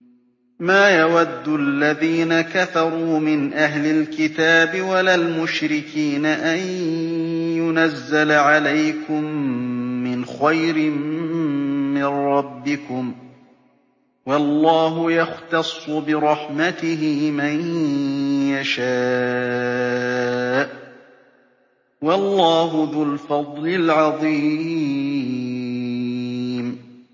مَّا يَوَدُّ الَّذِينَ كَفَرُوا مِنْ أَهْلِ الْكِتَابِ وَلَا الْمُشْرِكِينَ أَن يُنَزَّلَ عَلَيْكُم مِّنْ خَيْرٍ مِّن رَّبِّكُمْ ۗ وَاللَّهُ يَخْتَصُّ بِرَحْمَتِهِ مَن يَشَاءُ ۚ وَاللَّهُ ذُو الْفَضْلِ الْعَظِيمِ